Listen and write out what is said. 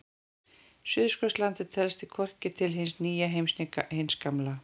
Suðurskautslandið telst því hvorki til hins nýja heims né hins gamla.